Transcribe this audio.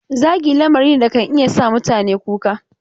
Zagi lamari ne da kan iya sa mutane kuka.